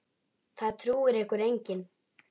Það trúir ykkur enginn!